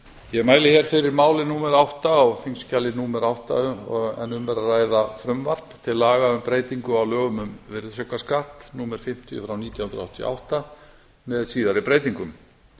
ég mæli fyrir máli númer átta á þingskjali númer átta en um er að ræða frumvarp til laga um breytingu á lögum um virðisaukaskatt númer fimmtíu nítján hundruð áttatíu og átta með síðari breytingum